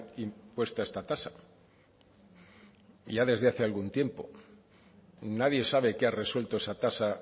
impuesta esta tasa ya desde hace algún tiempo nadie sabe que ha resuelto esa tasa